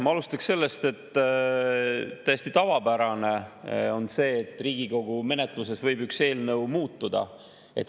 Ma alustaks sellest, et täiesti tavapärane on see, et Riigikogu menetluses eelnõu muutub.